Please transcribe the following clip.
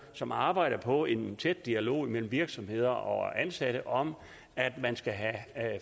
som arbejder på en tæt dialog mellem virksomheder og ansatte om at man skal have